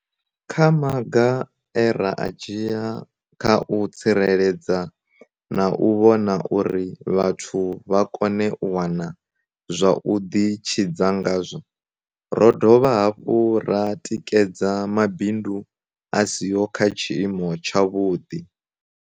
Kha maga e ra a dzhia kha u tsireledza na u vhona uri vhathu vha kone u wana zwa u ḓitshidza ngazwo, ro dovha hafhu ra tikedza mabindu a siho kha tshiimo tshavhuḓi.